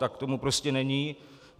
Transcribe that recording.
Tak tomu prostě není.